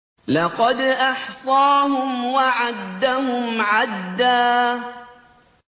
لَّقَدْ أَحْصَاهُمْ وَعَدَّهُمْ عَدًّا